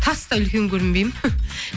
тастай үлкен көрінбеймін